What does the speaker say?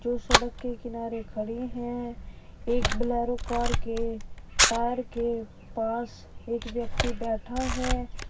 जो सड़क के किनारे खड़ी हैं एक बोलेरो कार के टायर के पास एक व्यक्ति बैठा है।